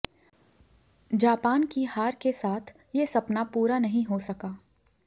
Japan की हार के साथ ये सपना पूरा नहीं हो सका